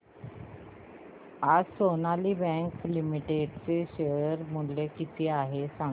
आज Sonali bank limited चे share मूल्य किती आहे सांगा